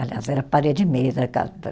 Aliás, era parede e meia da casa da